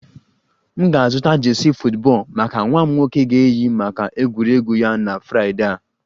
M ga-azụta jersey football maka nwa m nwoke ga-eyi maka egwuregwu ya na Fraịdee a